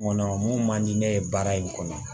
Ŋɔnɔ mun man di ne ye baara in kɔnɔ